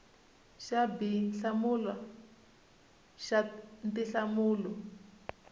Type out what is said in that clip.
xa b hlamula xa tinhlamulo